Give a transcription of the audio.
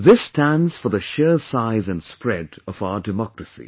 This stands for the sheer size & spread of our Democracy